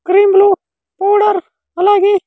Cream లు powder అలాగే.